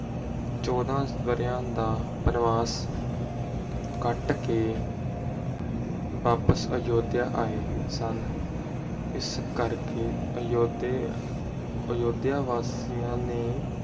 ਚੋਦਹ ਬਰੇਆਂ ਦਾ ਬਨਬਾਸ ਕਟ ਕੇ ਬਾਪਸ ਅਯੁੱਧਿਆ ਆਏ ਸਨ ਇਸ ਕਰਕੇ ਅਯੁੱਧਿਆ ਬਾਸੀਆਂ ਨੂੰ